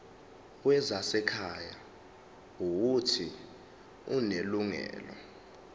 wezasekhaya uuthi unelungelo